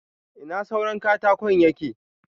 Ina suran katakon yake?